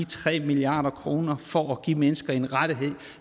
tre milliard kroner for at give mennesker en rettighed